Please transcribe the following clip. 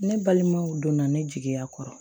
Ne balimaw donna ne jigiya kɔrɔ